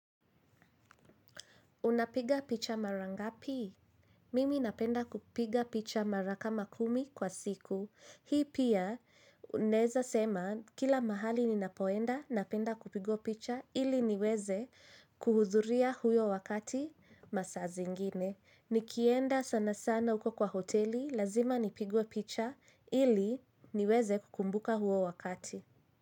Unapiga picha mara ngapi? Mimi napenda kupiga picha mara kama kumi kwa siku. Hii pia unaweza sema kila mahali ninapoenda napenda kupigwa picha ili niweze kuhudhuria huyo wakati masaa zingine. Nikienda sana sana uko kwa hoteli lazima nipigwe picha ili niweze kukumbuka huo wakati.